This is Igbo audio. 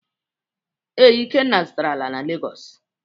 Ee, Ikenna zụtara ala na Legọs.